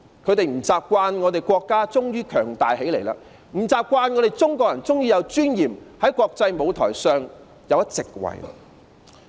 他們不習慣我們的國家終於強大起來、不習慣中國人終於有尊嚴，在國際舞台上佔一席位。